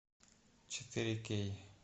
четыре кей